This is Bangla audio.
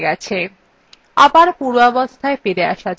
আবার পূর্বাবস্থায় ফিরে আসা যাক